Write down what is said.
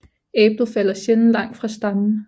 Æblet falder sjældent langt fra stammen